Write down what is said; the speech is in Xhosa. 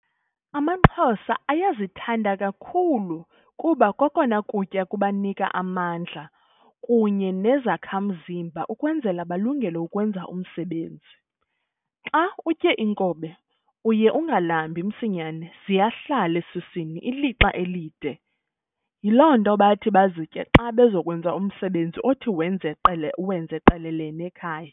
Amaxhosa ayazithanda kakhulu kuba kokona kutya kubanika amadla kunye nezakhamzimba ukwenzela balungele ukwenza umsebenzi. Xa utye inkobe uye ungalambi msinyane ziyahlala esuswini ilixa elinde yiloo nto bathi bazitye xa bezokwenza umsebenzi othi wenxe qele uwenze qelele nekhaya.